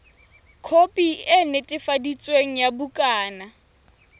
khopi e netefaditsweng ya bukana